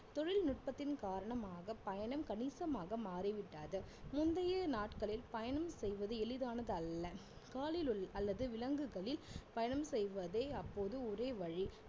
தொழில்நுட்பத்தின் காரணமாக பயணம் கணிசமாக மாறிவிட்டது முந்தைய நாட்களில் பயணம் செய்வது எளிதானது அல்ல அல்லது விலங்குகளில் பயணம் செய்வதே அப்போது ஒரே வழி